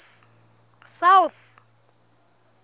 south